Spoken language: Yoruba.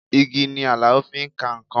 Igi ni Alao fi ka nǹkan